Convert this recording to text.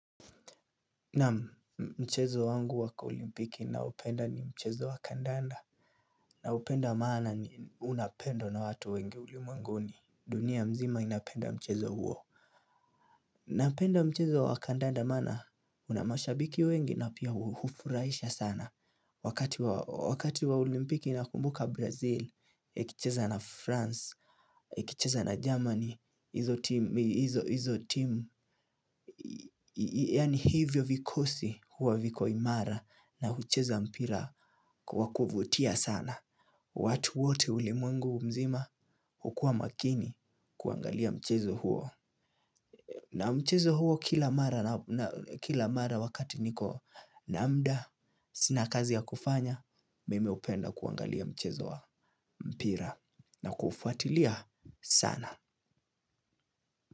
Naam mchezo wangu waka olimpiki naupenda ni mchezo wa kandanda. Naupenda maana ni unapendwa na watu wengi ulimwenguni. Dunia mzima inapenda mchezo huo. Napenda mchezo wa kandanda maana una mashabiki wengi na pia uhufuraisha sana. Wakati wa olimpiki nakumbuka brazil, ikicheza na france, ikicheza na germany, hizo timu yani hivyo vikosi huwa viko imara na hucheza mpira kwa kuvutia sana. Watu wote ulimwengu mzima hukua makini kuangalia mchezo huo. Na mchezo huo kila mara wakati niko na mda sina kazi ya kufanya. Mimi hupenda kuangalia mchezo wa mpira na kufuatilia sana.